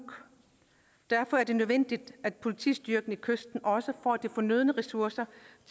derfor er det nødvendigt at politistyrken ved kysterne også får de fornødne ressourcer